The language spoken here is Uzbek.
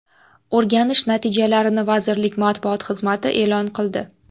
O‘rganish natijalarini vazirlik matbuot xizmati e’lon qildi .